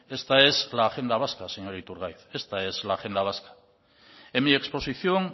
es la agenda vasca señor iturgaiz esta es la agenda vasca en mi exposición